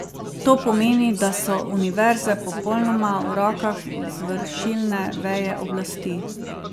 To pomeni, da so univerze popolnoma v rokah izvršilne veje oblasti.